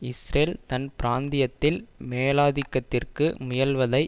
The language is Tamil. இஸ்ரேல் தன் பிராந்தியத்தில் மேலாதிக்கத்திற்கு முயல்வதை